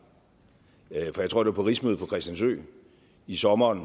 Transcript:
jeg tror det på rigsmødet på christiansø i sommeren